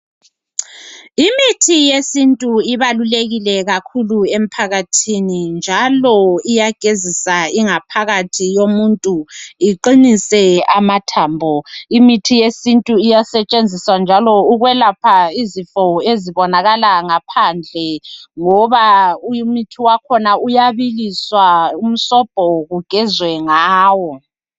Imithi yesintu ibalulekile kakhulu emphakathini njalo iyagezisa ingaphakathi yomuntu iqinise amathambo. Imithi yesintu iyasetshenziswa njalo ukwelapha izifo ezibonakala ngaphandle ngoba umuthi wakhona uyabiliswa umsobho kugezwe ngawo